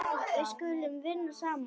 Við skulum vinna saman.